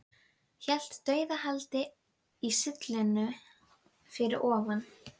Hélt dauðahaldi í sylluna fyrir ofan.